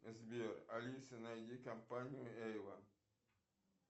сбер алисе найди компанию эйвон